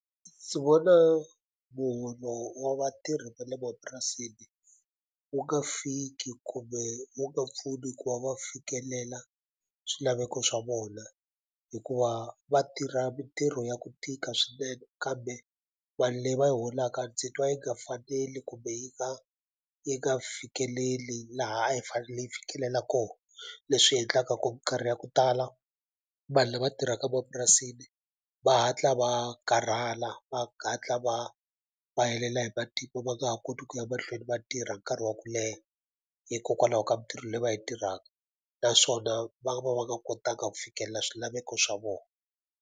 Ndzi vona muholo wa vatirhi va le mapurasini wu nga fiki kumbe wu nga pfuni ku va va fikelela swilaveko swa vona hikuva va tirha mintirho ya ku tika swinene kambe mali leyi va yi holaka ndzi twa yi nga faneli kumbe yi nga yi nga fikeleli laha a yi fanele yi fikelela kona leswi endlaka ku minkarhi ya ku tala vanhu lava tirhaka mapurasini va hatla va karhala va va va helela hi va nga ha koti ku ya mahlweni va tirha nkarhi wa ku leha hikokwalaho ka mintirho leyi va yi tirhaka naswona va va va nga kotanga ku fikelela swilaveko swa vona.